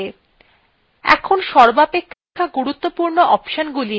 man command অনেক option আছে